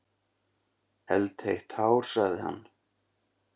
Eldheitt hár, sagði hann.